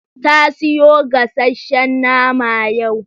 Ta siyo gasasshen nama yau.